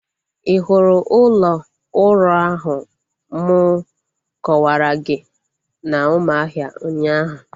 Ị hụrụ ụlọ ụrọ ahụ m kọwara gị na Umuahia ụnyaahụ?